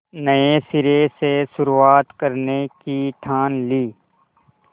नए सिरे से शुरुआत करने की ठान ली